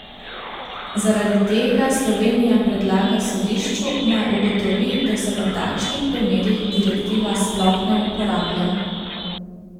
Zaradi tega Slovenija predlaga sodišču, naj ugotovi, da se v takšnih primerih direktiva sploh ne uporablja.